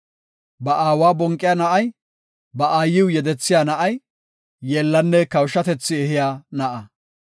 Ba aawa bonqiya na7ay, ba aayiw yedethiya na7ay, yeellanne kawushatethi ehiya na7a.